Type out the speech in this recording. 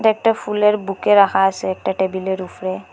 একটা ফুলের বুকে রাখা আসে একটা টেবিলের উফরে।